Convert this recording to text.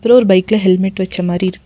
இன்னோரு பைக்ல ஹெல்மெட் வச்ச மாரி இருக்கு.